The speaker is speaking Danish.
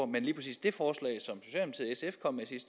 med i sidste